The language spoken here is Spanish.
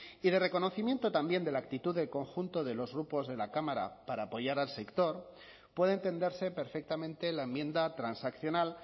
y de reconocimiento también de la actitud del conjunto de los grupos de la cámara para apoyar al sector puede entenderse perfectamente la enmienda transaccional